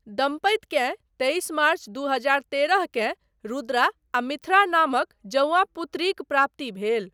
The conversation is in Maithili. दम्पतिकेँ तेइस मार्च दू हजार तेरहकेँ रुद्रा आ मिथ्रा नामक जौआ पुत्रीक प्राप्ति भेल।